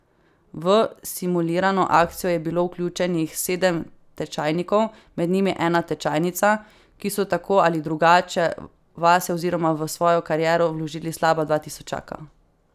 V simulirano akcijo je bilo vključenih sedem tečajnikov, med njimi ena tečajnica, ki so tako ali drugače vase oziroma v svojo kariero vložili slaba dva tisočaka.